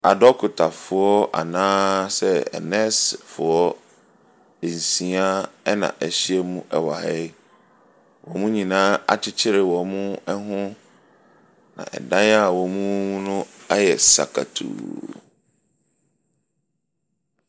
Adɔkotafoɔ anaasɛ anɛɛsefoɔ nsia na wɔahyiam wɔ ha yi. Wɔn nyinaa akyekyere wɔn ho, na dan a wɔwɔ mu no ayɛ sakatuu.